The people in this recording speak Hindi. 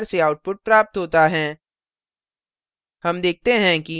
हमें निम्न प्रकार से output प्राप्त होता हैं